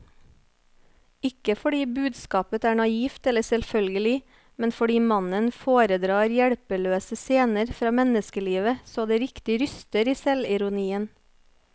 Ikke fordi budskapet er naivt eller selvfølgelig, men fordi mannen foredrar hjelpeløse scener fra menneskelivet så det riktig ryster i selvironien.